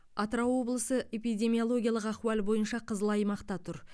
атырау облысы эпидемиологиялық ахуал бойынша қызыл аймақта тұр